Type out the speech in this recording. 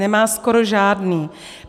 Nemá skoro žádný.